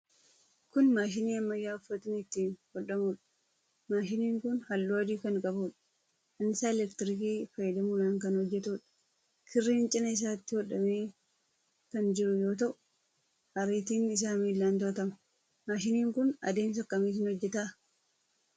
Kun maashinii ammayyaa uffatni ittiin hodhamuudha. Maashiniin kun halluu adii kan qabuudha. Annisaa elektirikii fayyadamuudhaan kan hojjetuudha. Kirriin cina isaatti godhamee kan jiru yoo ta'u, ariitiin isaa miilaan to'atama. Maashiniin kun adeemsa akkamiitiin hojjeta?